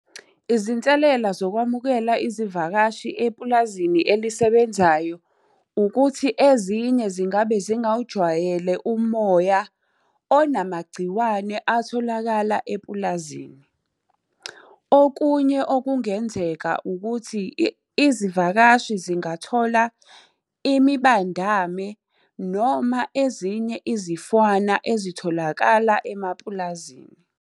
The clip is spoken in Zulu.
Izinselela zokwamukela izivakashi epulazini elisebenzayo, ukuthi ezinye zingabe zingawujwayele umoya onamagciwane atholakala epulazini. Okunye okungenzeka ukuthi, izivakashi zingathola imibandame noma ezinye izifwana ezitholakala emapulazini.